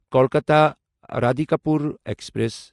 Kolkata Radhikapur express